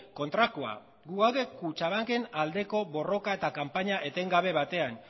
kontrakoa gu gaude kutxabanken aldeko borroka eta kanpaina etengabe batean